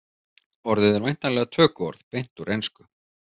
Orðið er væntanlega tökuorð beint úr ensku.